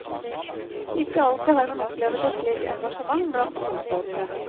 Ikke alltid har man opplevet et slikt engasjement blant ordførere.